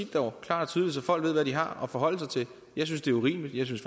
det dog klart og tydeligt så folk ved hvad de har at forholde sig til jeg synes det er urimeligt jeg synes